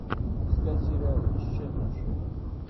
искать сериал исчезнувшие